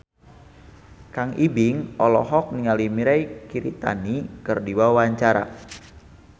Kang Ibing olohok ningali Mirei Kiritani keur diwawancara